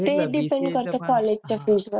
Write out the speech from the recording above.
ते depend करत college च्या fees वर.